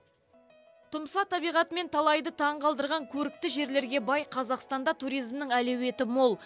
тұмса табиғатымен талайды таңғалдырған көрікті жерлерге бай қазақстанда туризмнің әлеуеті мол